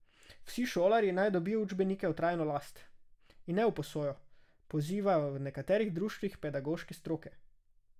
Vsi šolarji naj dobijo učbenike v trajno last, in ne v izposojo, pozivajo v nekaterih društvih pedagoške stroke.